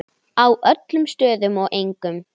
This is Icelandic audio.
Á öllum stöðum og engum.